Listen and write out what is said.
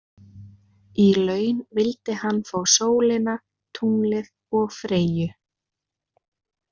Í laun vildi hann fá sólina, tunglið og Freyju.